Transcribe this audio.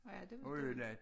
Nåh ja det ved jeg ikke